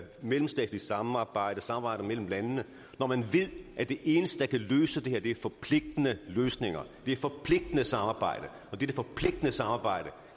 mellemstatsligt samarbejde samarbejde mellem landene når man ved at det eneste der kan løse det her er forpligtende løsninger det er forpligtende samarbejde og dette forpligtende samarbejde